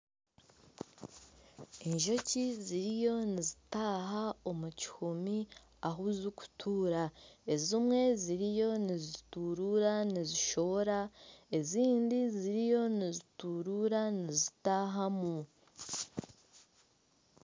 Enjoki ziriyo nizitaaha omu kihumi ahu zirikutuura ezimwe ziriyo nizituruura nizishohora ,ezindi ziriyo nizituruura nizitaahamu.